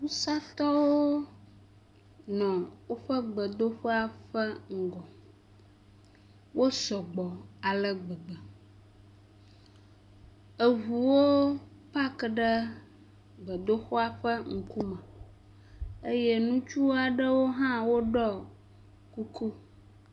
Wusatɔwo nɔ woƒe gbedoxɔa ƒe ŋgɔ, wosɔgbɔ ale gbegbe, eŋuwo paki ɖe gbedoxɔa ƒe ŋkume eye ŋutsu aɖewo hã woɖɔ kuku.